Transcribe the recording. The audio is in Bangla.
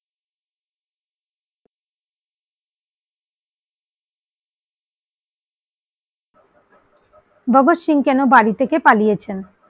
ভগৎ সিং কেন বাড়ি থেকে পালিয়ে ছেন?